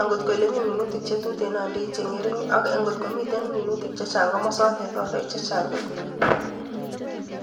angot Komi minutiik che tuten andoi che ngerin, ak ngot komi minutik chechang komosootet andooi chechang kot missing.